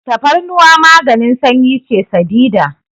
Tafarnuwa maganin sanyi ce sadidan.